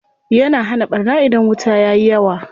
Yana hana ɓarna idan wuta yayi yawa.